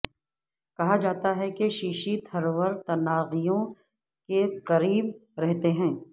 کہا جاتا ہے کہ ششی تھرور تناغیوں کی قریب رہتے ہیں